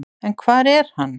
En hvar er hann?